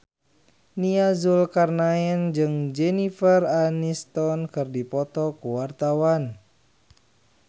Nia Zulkarnaen jeung Jennifer Aniston keur dipoto ku wartawan